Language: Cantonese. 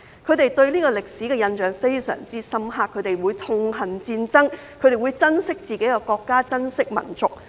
他們對這個歷史的印象非常深刻，他們會痛恨戰爭，亦會珍惜自己的國家，珍惜民族。